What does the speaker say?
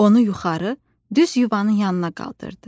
Onu yuxarı, düz yuvanın yanına qaldırdı.